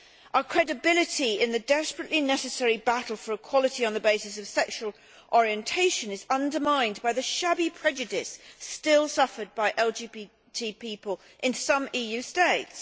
Our credibility in the desperately necessary battle for equality on the basis of sexual orientation is undermined by the shabby prejudice still suffered by LGBT people in some EU states.